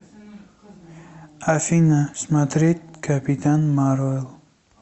афина смотреть капитан марвел